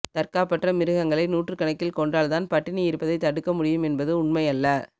தற் காப்பற்ற மிருகங்களை நூற்றுக்கணக்கில் கொன்றால் தான் பட்டினி இருப்பதை தடுக்க முடியும் என்பது உண்மையல்ல